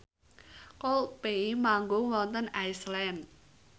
Coldplay manggung wonten Iceland